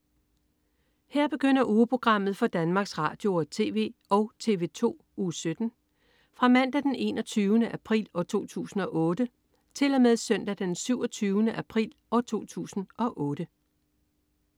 Her begynder ugeprogrammet for Danmarks Radio- og TV og TV2 Uge 17 Fra Mandag den 21. april 2008 Til Søndag den 27. april 2008